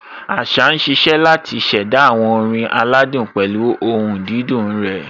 Àṣá ń ṣiṣẹ́ láti ṣẹ̀dá àwọn orin aládùn pẹ̀lú ohùn dídùn rẹ̀.